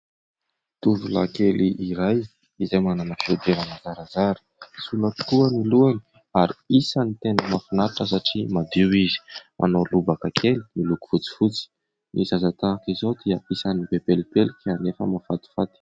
Tovolahy kely iray izay manana fihodirana zarazara ; sola tokoa ny lohany, ary isan'ny tena mahafinaritra satria madio izy. Manao lobaka kely miloko fotsifotsy. Ny zaza tahaka izao dia isan'ny be pelipelika, anefa mahafatifaty.